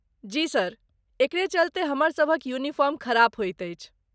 जी sir, एकरे चलतै हमर सभक यूनिफार्म खराब होइत अछि।